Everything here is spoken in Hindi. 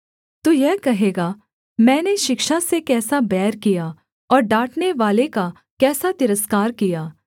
तू यह कहेगा मैंने शिक्षा से कैसा बैर किया और डाँटनेवाले का कैसा तिरस्कार किया